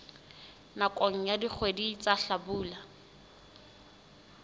nakong ya dikgwedi tsa hlabula